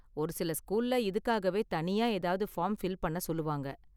ஒரு சில ஸ்கூல்ல இதுக்காகவே தனியா ஏதாவது ஃபார்ம் ஃபில் பண்ண சொல்லுவாங்க